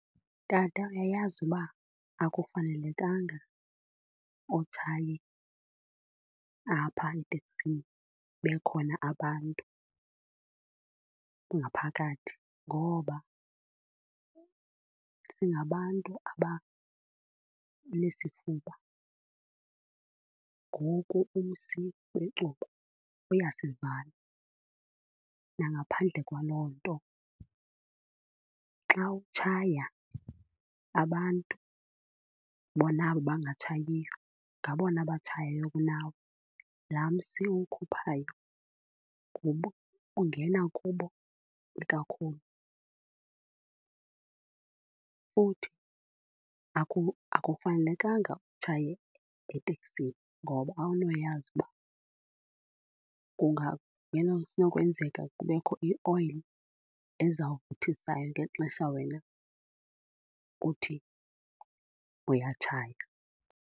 Tata, uyayazi uba akufanelekanga utshaye apha eteksini bekhona abantu ngaphakathi ngoba singabantu abanesifuba ngoku umsi wecuba uyasivala. Nangaphandle kwaloo nto xa utshaya abantu, bona abo bangatshayiyo, ngabona abatshayayo kunawe. Laa msi uwukhuphayo ungena kubo ikakhulu. Futhi akufanelekanga utshaye etekisini ngoba awunowuyazi uba kunokwenzeka kubekho ioyile ezawutshisa ngexesha wena uthi uyatshaya.